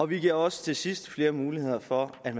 vi giver også til sidst flere muligheder for at